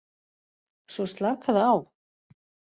Svo slakaðu á.